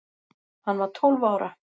Hann var tólf ára.